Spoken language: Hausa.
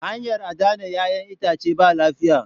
Hanyar adana 'yac'yan itace ba lafiya.